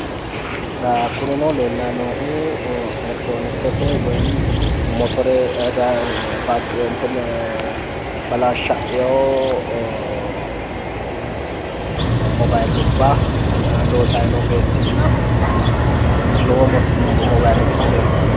Kurino leelayi noohu electronkisete woym motore balashaewo mobayilubba loosayi noo beetina lowo mobayilubba leelitano